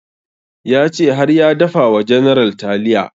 Ya ce har ya dafa wa general taliya